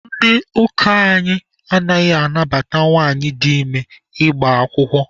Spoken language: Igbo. Ndị ụka anyị anaghị anabata nwanyị dị ime ịgba akwụkwọ.